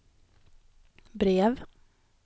brev